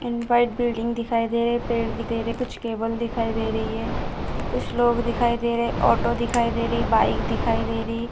and white building दिखाई दे रहे है पेड़ भी दे रहे है कुछ टेबल दिखाई दे रही है कुछ लोग दिखाई दे रहे है ऑटो दिखाई दे रही है बाइक दिखाई दे रही --